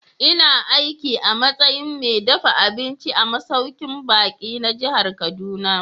Ina aiki a matsayin mai dafa abinci a masaukin baƙi na jihar Kaduna.